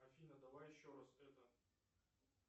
афина давай еще раз это